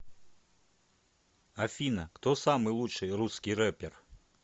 афина кто самый лучший русский рэпер